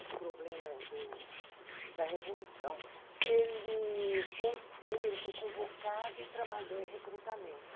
os problemas do da Revolução, ele voltou, ele foi convocado, trabalhou em recrutamento.